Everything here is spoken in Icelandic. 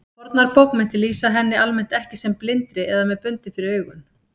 Fornar bókmenntir lýsa henni almennt ekki sem blindri eða með bundið fyrir augun.